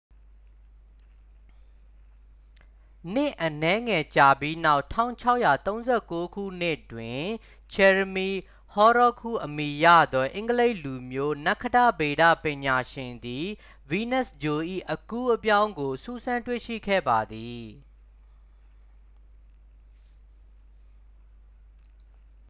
နှစ်အနည်းငယ်ကြာပြီးနောက် 1639 ခုနှစ်တွင် ဂျယ်ရမီ ဟော်ရောခ်စ် ဟုအမည်ရသော အင်္ဂလိပ်လူမျိုး နက္ခတ္တဗေဒပညာရှင်သည် ဗီးနပ်စ်ဂြိုလ်၏ အကူးအပြောင်းကို စူးစမ်းတွေ့ရှိခဲ့ပါသည်